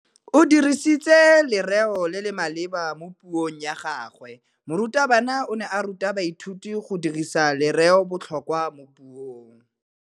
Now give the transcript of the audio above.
O dirisitse lerêo le le maleba mo puông ya gagwe. Morutabana o ne a ruta baithuti go dirisa lêrêôbotlhôkwa mo puong.